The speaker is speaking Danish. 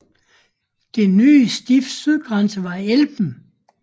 Det nye stifts sydgrænse var Elben